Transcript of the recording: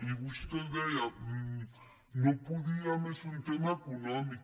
i vostè deia no podíem és un tema econòmic